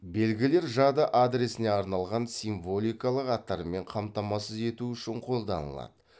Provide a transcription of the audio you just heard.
белгілер жады адресіне арналған символикалық аттармен қамтамасыз ету үшін қолданылады